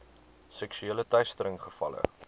seksuele teistering gevalle